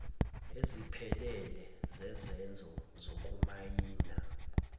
eziphelele zezenzo zokumayina